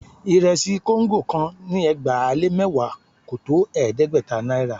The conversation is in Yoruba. Ìrẹsì kóńgò kan ni ẹgbàá-lé-mẹ́wàá kò tó ẹ̀ẹ́dẹ́gbẹ̀ta náírà